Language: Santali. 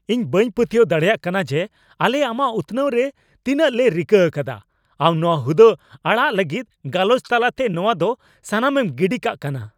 ᱤᱧ ᱵᱟᱹᱧ ᱯᱟᱹᱛᱭᱟᱹᱣ ᱫᱟᱲᱮᱭᱟᱜ ᱠᱟᱱᱟ ᱡᱮ ᱟᱞᱮ ᱟᱢᱟᱜ ᱩᱛᱱᱟᱹᱣ ᱨᱮ ᱛᱤᱱᱟᱹᱜᱞᱮ ᱨᱤᱠᱟᱹ ᱟᱠᱟᱫᱟ, ᱟᱢ ᱱᱚᱶᱟ ᱦᱩᱫᱟᱹ ᱟᱲᱟᱜ ᱞᱟᱹᱜᱤᱫ ᱜᱟᱞᱚᱪ ᱛᱟᱞᱟᱛᱮ ᱱᱚᱶᱟ ᱫᱚ ᱥᱟᱱᱟᱢᱮ ᱜᱤᱰᱤ ᱠᱟᱜ ᱠᱟᱱᱟ ᱾